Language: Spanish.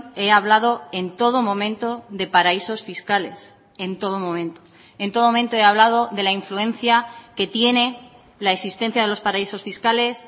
he hablado en todo momento de paraísos fiscales en todo momento en todo momento he hablado de la influencia que tiene la existencia de los paraísos fiscales